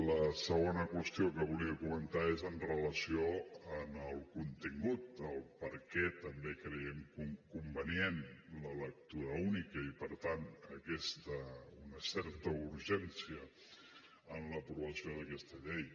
la segona qüestió que volia comentar és amb relació al contingut a per què també creiem convenient la lectura única i per tant una certa urgència en l’aprovació d’aquesta llei